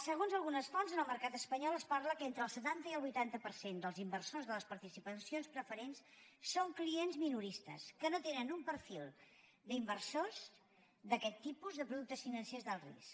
segons algunes fonts en el mercat espanyol es parla que entre el setanta i el vuitanta per cent dels inversors de les participacions preferents són clients minoristes que no tenen un perfil d’inversors d’aquest tipus de productes financers d’alt risc